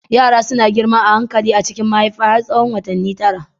Yara suna girma a hankali a cikin mahaifa har tsawon watanni tara.